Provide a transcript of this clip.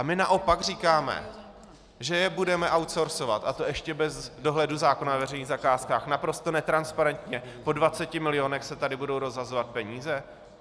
A my naopak říkáme, že je budeme outsourceovat, a to ještě bez dohledu zákona o veřejných zakázkách, naprosto netransparentně po 20 milionech se tady budou rozhazovat peníze.